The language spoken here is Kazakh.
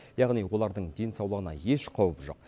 яғни олардың денсаулығына еш қауіп жоқ